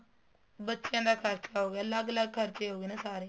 ਬੱਚਿਆ ਦਾ ਖਰਚਾ ਹੋ ਗਿਆ ਅਲੱਗ ਅਲੱਗ ਖਰਚੇ ਹੋ ਗਏ ਨਾ ਸਾਰੇ